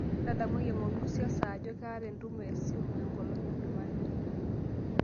ndadamuaki engor nusu ee saa ajoo kaata entumo esimu enkolong ee jumanne